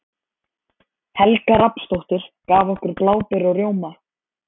Helga Rafnsdóttir, gaf okkur bláber og rjóma.